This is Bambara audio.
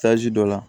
dɔ la